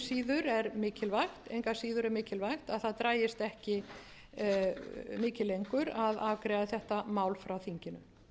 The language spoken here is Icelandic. síður er mikilvægt að það dragist ekki mikið lengur að afgreiða þetta mál frá þinginu